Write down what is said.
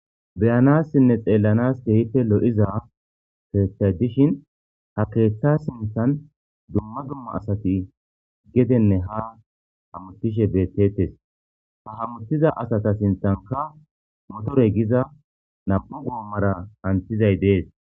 Beyanassinne xelanassi lo"iza keeththa sinthan dumma dumma asati gedene ha hamutishe bettetes ha hamitiza asata sinththankka motorey hamutishe des